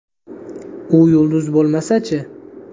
U yulduz bo‘lmasa-chi?